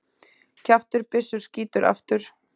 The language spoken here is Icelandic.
Kjaftur byssu skýtur aftur.